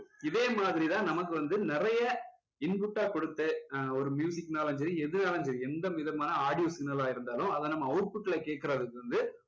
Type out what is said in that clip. இதே மதிரி தான் நமக்கு வந்து நிறைய input ஆ கொடுத்து ஆஹ் ஒரு னாலும் சரி எதுனாலும் சரி எந்த விதமான audio signal லா இருந்தாலும் அதை நம்ம output ல கேட்குறது வந்து